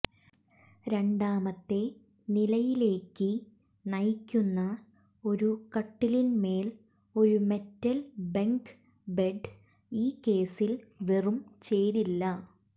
രണ്ടാമത്തെ നിലയിലേക്ക് നയിക്കുന്ന ഒരു കട്ടിലിന്മേൽ ഒരു മെറ്റൽ ബെങ്ക് ബെഡ് ഈ കേസിൽ വെറും ചേരില്ല